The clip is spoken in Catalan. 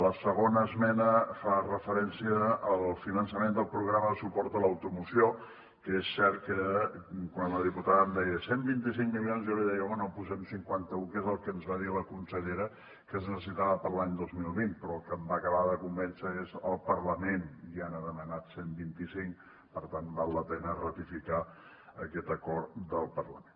la segona esmena fa referència al finançament del programa de suport a l’automoció que és cert que quan la diputada em deia cent i vint cinc milions jo li deia bé posem cinquanta un que és el que ens va dir la consellera que es necessitava per a l’any dos mil vint però el que em va acabar de convèncer és el parlament ja n’ha demanat cent i vint cinc per tant val la pena ratificar aquest acord del parlament